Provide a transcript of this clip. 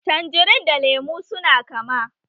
Tanjerin da lemu su na kama